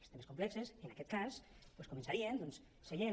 els temes complexos en aquest cas doncs començaríem seient